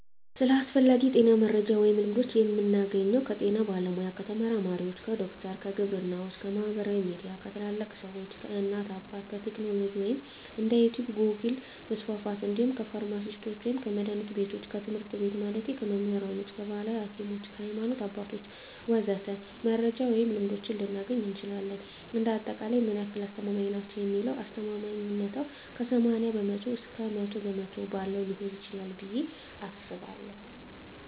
ስለ አስፈላጊ የጤና መረጃ ወይም ልምዶች የምናገኘው ከጤና ባለሙያ፣ ከተመራማሪዎች፣ ከዶክተሮች፣ ከግብርናዎች፣ ከማህበራዊ ሚዲያ፣ ከታላላቅ ሰዎች፣ ከእናት አባት፣ ከቴክኖሎጂ ወይም እንደ ዩቲቭ ጎግል% መስፍፍት እንዲሁም ከፍርማሲስቶች ወይም ከመድሀኒት ቢቶች፣ ከትምህርት ቤት ማለቴ ከመምህራኖች፣ ከባህላዊ ሀኪሞች፣ ከሀይማኖት አባቶች ወዘተ..... መረጃ ወይም ልምዶች ልናገኝ እንችላለን። እንደ አጠቃላይ ምን ያህል አስተማማኝ ናቸው ለሚለው አስተማማኝነታው ከ80% እስከ 100% ባለው ሊሆን ይችላል ብየ አስባለሁ።